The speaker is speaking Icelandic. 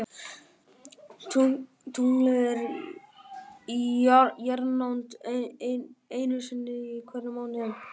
Tunglið er í jarðnánd einu sinni í hverjum mánuði.